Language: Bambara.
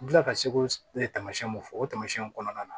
N kilala ka sekoma mun fɔ o tamasiyɛnw kɔnɔna na